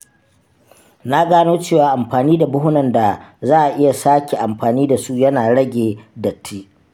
Na gano cewa amfani da buhunan da za a iya sake amfani da su yana rage datti.